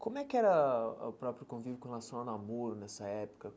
Como é que era o próprio convívio com relação ao namoro nessa época?